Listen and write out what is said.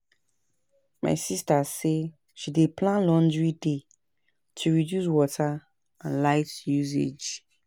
My sista say she dey plan laundry day to reduce water and light usage.